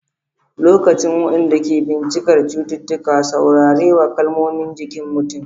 Likitocin, waɗanda ke bincikar cututtuka, saurare wa kalmomin jikin mutum.